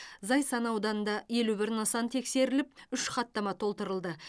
зайсан ауданында елі бір нысан тексеріліп үш хаттама толтырылды